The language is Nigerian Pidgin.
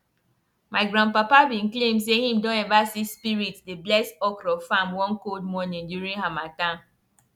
my grandpapa be claim say him don ever see spirit dey bless okro farm one cold morning during harmattan